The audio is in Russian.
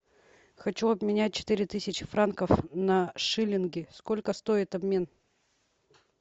хочу обменять четыре тысячи франков на шиллинги сколько стоит обмен